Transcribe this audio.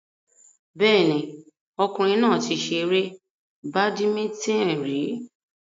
Bẹ́ẹ̀ni, ọkùnrin náà ti ṣe eré badimítìn rí